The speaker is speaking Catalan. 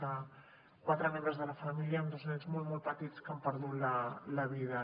que quatre membres de la família amb dos nens molt molt petits hi han perdut la vida